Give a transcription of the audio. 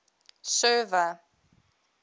server